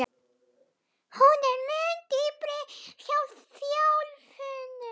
Hún er mun dýpri hjá þjálfuðum.